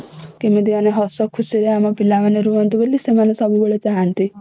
କେମିତି ମାନେ ହସ ଖୁସିରେ ଆମ ପିଲା ମାନେ ରୁହନ୍ତୁ ବୋଲି ସେମାନେ ସବୁବେଳେ ଚାହାନ୍ତି